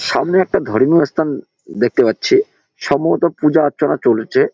সামনে একটা ধর্মীয় স্থান দেখতে পাচ্ছি সম্ভবত পূজা অর্চনা চলছে।